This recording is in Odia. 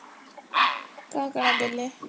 କାଣା କାଣା ଦେଲେ?